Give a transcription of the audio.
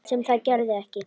Sem það gerði ekki.